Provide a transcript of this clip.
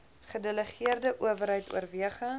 gedelegeerde owerheid oorweging